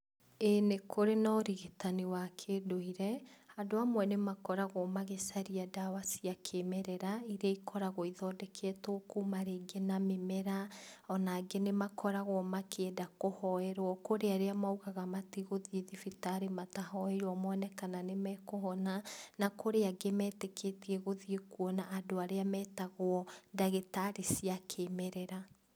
Ĩĩ nĩkũrĩ na ũrigitani wa kĩndũire, andũ amwe nĩmakoragwo magĩcaria ndawa cia kĩmerera, iria ikoragwo ithondeketwo kuma rĩngĩ na mĩmera, ona angĩ nĩmakoragwo makĩenda kũhoerwo, kũrĩ arĩa maũgaga matigũthiĩ thibitarĩ matahoeirwo mone kana nĩmakũhona, na kũrĩa angĩ metĩkĩtie gũthiĩ kuona andũ arĩa metagwo ndagĩtarĩ cia kĩmerera.